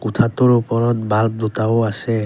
কোঠাটোৰ ওপৰত বাল্ব দুটাও আছে।